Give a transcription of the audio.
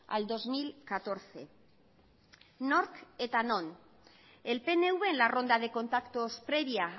al dos mil catorce nork eta non el pnv en la ronda de contactos previa